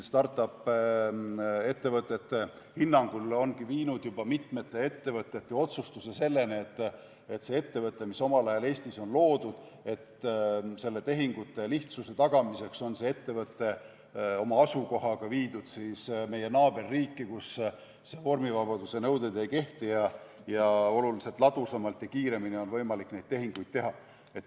Start-up-ettevõtete hinnangul ongi juba nii, et mitmed ettevõtted on otsustanud, et ettevõte, mis omal ajal Eestis loodi, on tehingute lihtsuse tagamiseks viidud meie naaberriiki, kus vormivabaduse nõuded ei kehti ning oluliselt ladusamalt ja kiiremini on võimalik neid tehinguid teha.